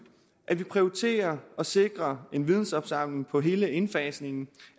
at vi prioriterer og sikrer en vidensopsamling på hele indfasningen